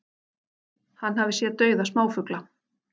Hann hafi séð dauða smáfugla